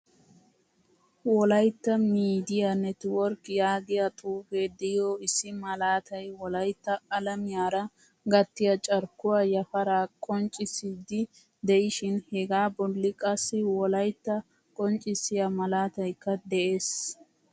Wolaytta miidiyaa network yaagiyaa xuuufe diyo issi malaatay wolaytta alamiyaara gattiya carkkuwaa yaafara qonccisidi deishin hega bolli qassi wolaytta qonccissiya malaataykka de'ees.